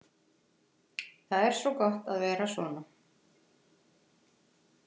Það er svo gott að vera svona.